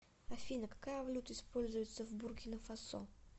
афина какая валюта используется в буркина фасо